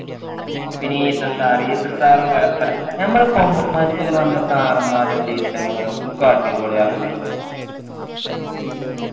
പിന്നെ ഈസ sir ഈസ sir ഉം കൊഴപ്പമില്ല ഞമ്മളെ commerce ൽ വന്ന sir മാറും teacher മാറും ഒക്കെ അടിപൊളിയാണ് കേട്ടോ